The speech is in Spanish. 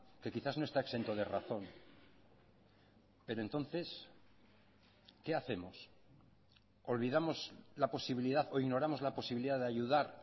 que quizás no está exento de razón pero entonces qué hacemos olvidamos la posibilidad o ignoramos la posibilidad de ayudar